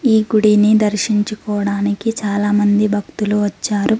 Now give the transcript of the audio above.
ఈ గుడిని దర్శించుకోవడానికి చాలామంది భక్తులు వచ్చారు.